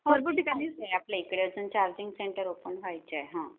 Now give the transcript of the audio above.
हो काहीच नाही, आपल्या ठिकाणी अजून चार्जिंग सेंटर ओपन व्हायचे आहेत ह्ममम